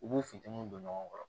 U b'u funtɛniw don ɲɔgɔn kɔrɔ